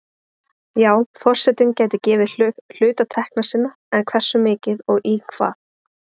Já forsetinn gæti gefið hluta tekna sinna, en hversu mikið og í hvað?